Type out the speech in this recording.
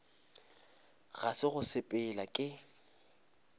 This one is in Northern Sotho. ga se go sepela ke